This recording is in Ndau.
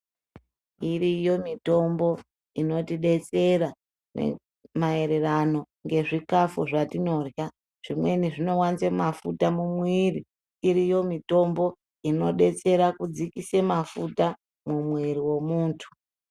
Iriyo mitombo inotidetsera maererano ngezvikafu zvatinorya. Zvimweni zvinowanze mafuta mumuviri. Iriyo mitombo inodetsere kudzikise mafuta mumwiri wemuntu.